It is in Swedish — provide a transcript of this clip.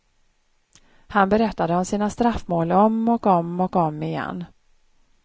Han berättade om sina straffmål om och om och om igen.